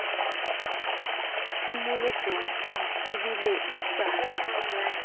tshimolohong o tsebile e sa